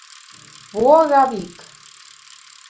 Vogavík